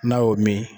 N'a y'o min